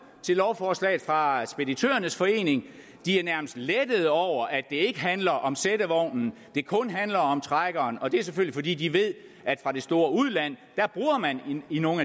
til lovforslaget fra speditørernes forening de er nærmest lettede over at det ikke handler om sættevognen men det kun handler om trækkeren og det er selvfølgelig fordi de ved fra det store udland at man i nogle